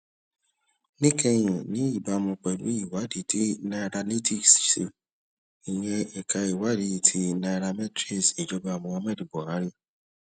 níkẹyìn ní ìbámu pẹlú ìwádìí tí nairalytics ṣe ìyẹn ẹka ìwádìí ti nairametrics ìjọba muhammadu buhari